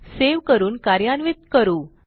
save करून कार्यान्वित करू